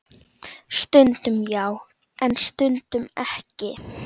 Þau áttu tvo syni.